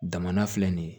Daman filɛ nin ye